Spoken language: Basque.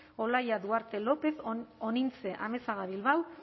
olaia duarte lópez onintze amezaga bilbao